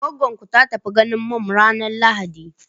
Goggon ku ta tafi ganin mum ranar lahadi?